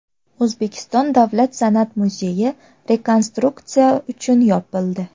O‘zbekiston davlat san’at muzeyi rekonstruksiya uchun yopildi.